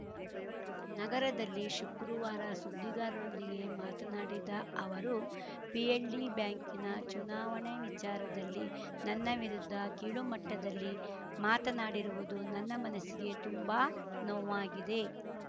ನಗರದಲ್ಲಿ ಶುಕ್ರುವಾರ ಸುದ್ದಿಗಾರರೊಂದಿಗೆ ಮಾತನಾಡಿದ ಅವರು ಪಿಎಲ್‌ಡಿ ಬ್ಯಾಂಕಿನ ಚುನಾವಣೆ ವಿಚಾರದಲ್ಲಿ ನನ್ನ ವಿರುದ್ಧ ಕೀಳುಮಟ್ಟದಲ್ಲಿ ಮಾತನಾಡಿರುವುದು ನನ್ನ ಮನಸ್ಸಿಗೆ ತುಂಬಾ ನೋವ್ವಾಗಿದೆ